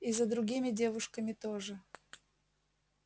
и за другими девушками тоже